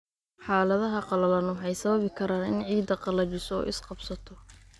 Xaaladaha qallalan waxay sababi karaan in ciidda qallajiso oo is-qabsato.